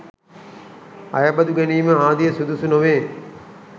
අයබදු ගැනීම ආදිය සුදුසු නොවේ.